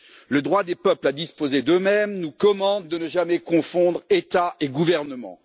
Le droit des peuples à disposer d'eux-mêmes nous commande de ne jamais confondre État et gouvernement.